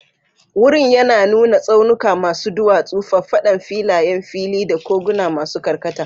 Wurin yana nuna tsaunuka masu duwatsu, faffadan filayen fili, da koguna masu karkata.